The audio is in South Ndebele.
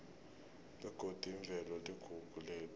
begodi imvelo iligugu lethu